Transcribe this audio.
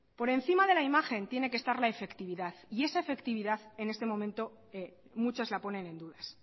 por encima de la imagen tiene que estar la efectividad y esa efectividad en este momento muchas la ponen en dudas